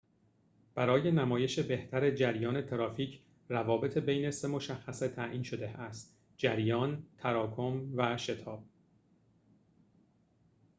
برای نمایش بهتر جریان ترافیک، روابط بین سه مشخصه تعیین شده است: 1 جریان، 2تراکم، و 3 شتاب